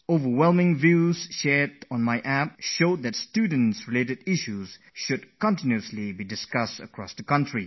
But the way suggestions have come pouring in through my App, it seems this should be a subject of constant discussion for the entire nation